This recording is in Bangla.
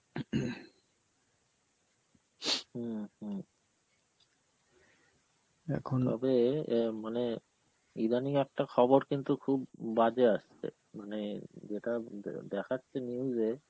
হম হম তবে অ্যাঁ মানে ইদানিং একটা খবর কিন্তু খুব বাজে আসছে, মানে যেটা দে~ দেখাচ্ছে news এ